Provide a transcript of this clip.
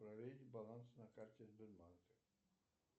проверить баланс на карте сбербанка